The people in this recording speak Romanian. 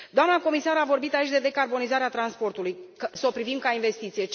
Doamna comisar a vorbit aici despre decarbonizarea transportului să o privim ca pe o investiție.